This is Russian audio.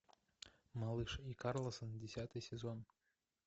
малыш и карлсон десятый сезон